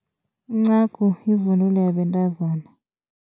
Incagu yivunulo yabantazana.